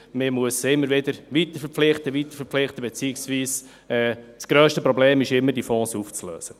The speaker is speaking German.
Man muss sie immer weiter und weiter verpflichten, beziehungsweise das grösste Problem ist immer, diese Fonds aufzulösen.